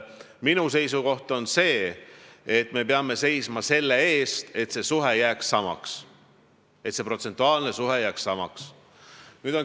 Minu seisukoht on, et me peame seisma selle eest, et see protsentuaalne suhe jääks samaks.